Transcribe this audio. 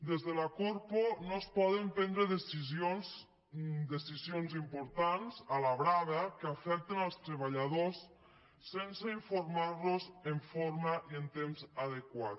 des de la corpo no es poden prendre decisions importants a la brava que afecten els treballadors sense informar los en forma i en temps adequat